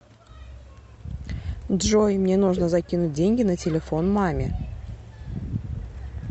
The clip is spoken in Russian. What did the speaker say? джой мне нужно закинуть деньги на телефон маме